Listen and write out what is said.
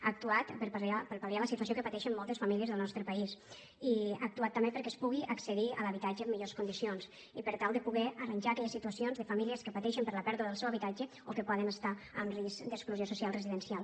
ha actuat per pal·liar la situació que pateixen moltes famílies del nostre país i ha actuat també perquè es pugui accedir a l’habitatge en millors condicions i per tal de poder arranjar aquelles situa cions de famílies que pateixen per la pèrdua del seu habitatge o que poden estar en risc d’exclusió social residencial